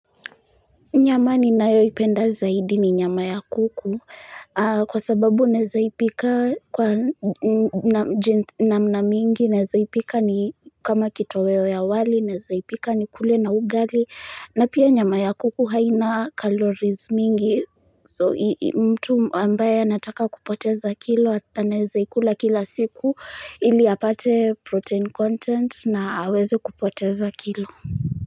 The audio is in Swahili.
Nyama ninayoipenda zaidi ni nyama ya kuku, kwa sababu naezaipika kwa namna mingi, naezaipika ni kama kitoweo ya wali, naezaipika nikule na ugali, na pia nyama ya kuku haina calories mingi, mtu ambaye anataka kupoteza kilo, anaezaikula kila siku, ili apate protein content na aweze kupoteza kilo.